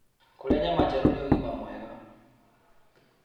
Kũrĩa nyama njerũ nĩ ũgima mwega